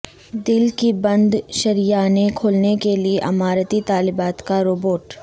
دل کی بند شریانیں کھولنے کے لیے اماراتی طالبات کا روبوٹ